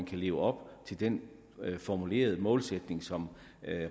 kan leve op til den formulerede målsætning som